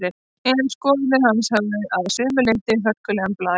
En skoðanir hans höfðu að sumu leyti hörkulegan blæ.